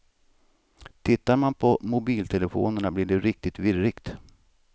Tittar man på mobiltelefonerna blir det riktigt virrigt.